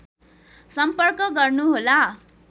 सम्पर्क गर्नुहोला